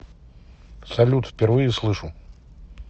салют впервые слышу